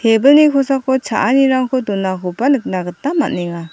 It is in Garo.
ebilni kosako cha·anirangko donakoba nikna gita man·enga.